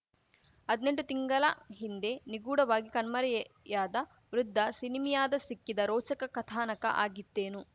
ಹದ್ನೆಂಟು ತಿಂಗಲ ಹಿಂದೆ ನಿಗೂಢವಾಗಿ ಕಣ್ಮರೆಯಾದ ವೃದ್ಧ ಸಿನಿಮೀಯದ ಸಿಕ್ಕಿದ ರೋಚಕ ಕಥಾನಕ ಆಗಿತ್ತೇನು